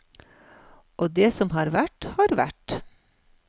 Og det som har vært, har vært.